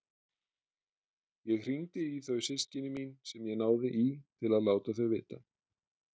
Ég hringdi í þau systkini mín sem ég náði í til að láta þau vita.